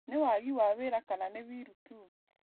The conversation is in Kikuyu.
Nĩ wagi wa wĩra kana nĩ wiru tu?